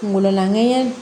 Kungolo lan